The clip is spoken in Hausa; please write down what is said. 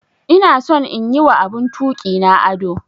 Ina son in yi wa abun tuki na ado.